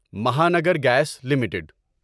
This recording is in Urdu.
Mahanagar Gas limited